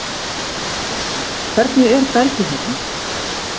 Kristján: Hvernig er bergið hérna?